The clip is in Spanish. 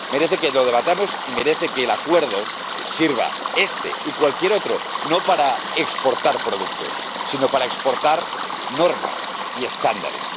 Merece que lo debatamos y merece que el Acuerdo sirva, este y cualquier otro, no para exportar productos, sino para exportar normas y estándares.